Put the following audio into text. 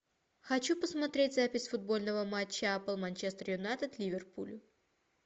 хочу посмотреть запись футбольного матча апл манчестер юнайтед ливерпуль